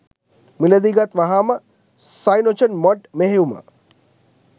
මිලදී ගත් වහාම සයිනොජන්මොඩ් මෙහෙයුම්